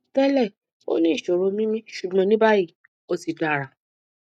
tẹlẹ ó ní ìṣòro mímí ṣùgbọn ní báyìí ó ti dára